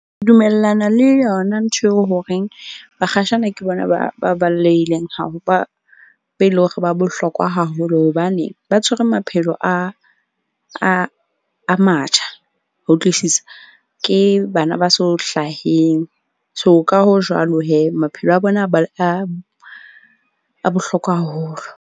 Ke dumellana le yona ntho eo horeng bakgatjhane ke bona ba eleng hore ba bohlokwa haholo. Hobane ba tshwere maphelo a matjha. Ho utlwisisa? Ke bana ba so hlaheng. So, ka ho jwalo. Maphelo a bona a bohlokwa haholo.